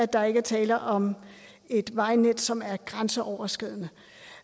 der ikke er tale om et vejnet som er grænseoverskridende